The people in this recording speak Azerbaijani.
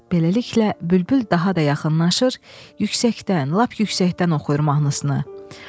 Beləliklə, bülbül daha da yaxınlaşır, yüksəkdən, lap yüksəkdən oxuyur mahnısını.